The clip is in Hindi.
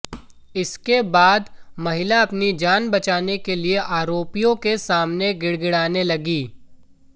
इसके बाद महिला अपनी जान बचाने के लिए आरोपियों के सामने गिड़गिड़ाने लगी